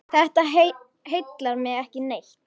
Þetta heillar mig ekki neitt.